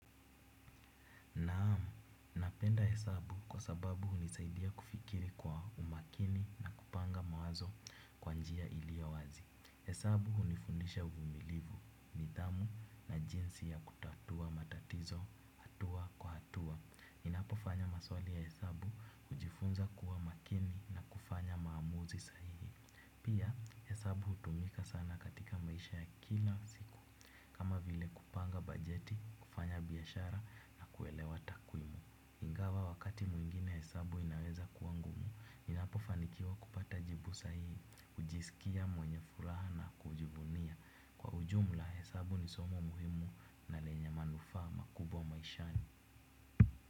Naam, napenda hesabu kwa sababu hunisaidia kufikiri kwa umakini na kupanga mawazo kwa njia iliowazi. Hesabu hunifundisha uvumilivu, nidhamu na jinsi ya kutatua matatizo hatua kwa hatua. Ninapo fanya maswali ya hesabu hujifunza kuwa makini na kufanya maamuzi sahihi. Pia, hesabu hutumika sana katika maisha ya kila siku. Kama vile kupanga bajeti, kufanya biashara na kuelewa takwimu. Ingawa wakati mwingine hesabu inaweza kuwa ngumu, ninapofanikiwa kupata jibu sahihi, hujisikia mwenye furaha na kujibunia. Kwa ujumla hesabu ni somo muhimu na lenye manufaa makubwa maishani.